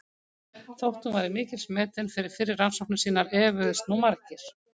Þótt hún væri mikils metin fyrir fyrri rannsóknir sínar efuðust nú margir.